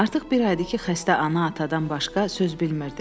Artıq bir aydır ki, xəstə ana-atadan başqa söz bilmirdi.